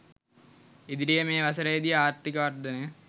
ඉදිරියේ මේ වසරේ දී ආර්ථික වර්ධනය